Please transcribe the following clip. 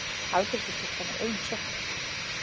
Afgreiðslustúlkan er ein í sjoppunni.